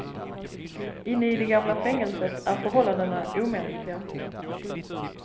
Inne i det gamla fängelset är förhållandena omänskliga.